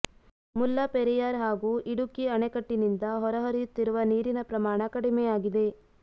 ಮುಲ್ಲಪೆರಿಯಾರ್ ಹಾಗೂ ಇಡುಕ್ಕಿ ಅಣೆಕಟ್ಟಿನಿಂದ ಹೊರ ಹರಿಯುತ್ತಿರುವ ನೀರಿನ ಪ್ರಮಾಣ ಕಡಿಮೆ ಆಗಿದೆ